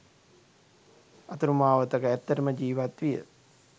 අතුරු මාවතක ඇත්තටම ජීවත් විය